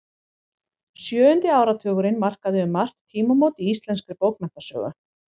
Sjöundi áratugurinn markaði um margt tímamót í íslenskri bókmenntasögu.